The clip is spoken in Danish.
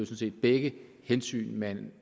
set begge hensyn man